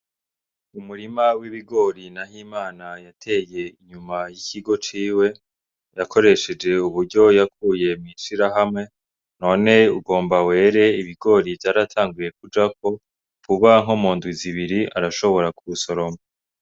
Umurima w'ibigori NAHIMANA yateye inyuma y'ikigo ciwe ,yakoreshej'uburyo yakuye mw'ishirahamwe, none ugomba were ibigori vyaratanguye kujako vuba nko mu ndwi zibiri arashobora kuwusoroma.